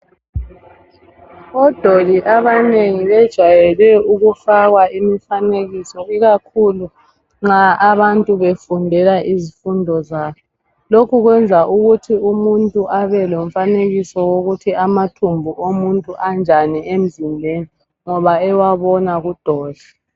Odoli abanengi bejwayele ukufakwa imifanekiso ikakhulu nxa abantu befundela izifundo zabo .Lokhu kwenza ukuthi umuntu abe lomfanekiso wokuthi amathumbu omuntu anjani emzimbeni ngoba ewabona kudoli.